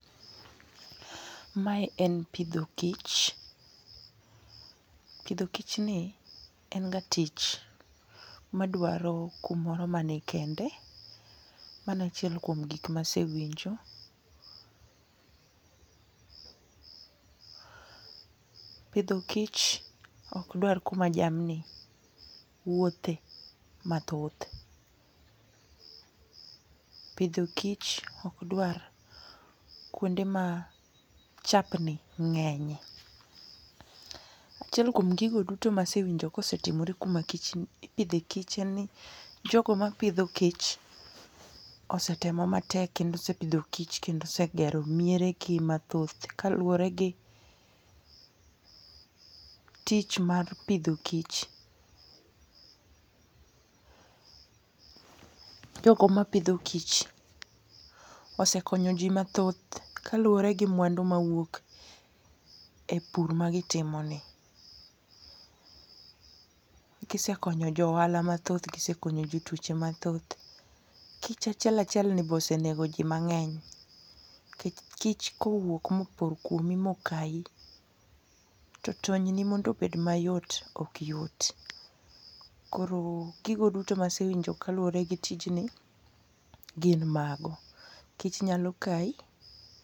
Mae en pitho kich. Pitho kich ni, en ga tich madwaro kumoro manikende, mano e achiel kuom gik ma asewinjo, pitho kich ok dwar kuma jamni wuothe mathoth, pitho kich okdwar kuonde ma chapni nge'nye. Achiel kuom gigo duto masewinjo kosetimore kuma ipithe kich en ni jogo mapitho kich osetemo matek kendo osepitho kich kendo osegero mieregi mathoth kaluore gitich mar pitho kich jogo mapitho kich, osekonyo ji mathoth kaluore gi mwandu ma wuok e pur magitimoni, gisekonyo johala mathoth gisekonyo jo twoche mathoth, kich achiel achiel be osenego ji mangeny, nikech kich ka owuok ma opor kuomi mokayi, to tonyni mondo obed ayot ok yot, koro gigo duto masewinjo kaluore gi tijni gin mago, kich nyalo kayi.